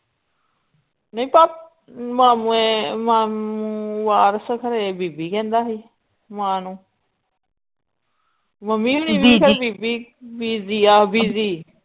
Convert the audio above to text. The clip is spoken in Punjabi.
ਨੀ ਭਪ ਮਾਮੇ ਮਾਮ ਵਾਰਸ ਘਰੇ ਬੀਬੀ ਕਹਿੰਦਾ ਸੀ ਮਾਂ ਨੂੰ ਮਮ੍ਮੀ ਵੀ ਨੀ ਹਮੇਸ਼ਾ ਬੀਬੀ ਬੀਜੀ ਯਾ ਬੀਜ਼ੀ